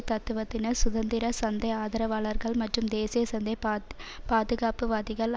தத்துவத்தினர் சுதந்திர சந்தை ஆதரவாளர்கள் மற்றும் தேசியசந்தை பாத் பாதுகாப்புவாதிகள்